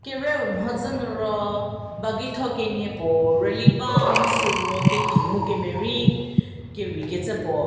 kerieu mhodzü nu ro bageitho kenie puo rü li ba mu süu ro ketei mu kemerei kereikecü puo.